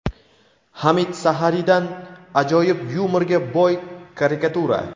Hamid Saharidan ajoyib yumorga boy karikatura.